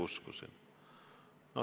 Muidugi uskusin.